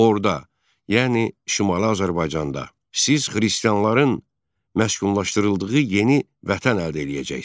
Orda, yəni Şimali Azərbaycanda, siz xristianların məskunlaşdırıldığı yeni Vətən əldə eləyəcəksiz.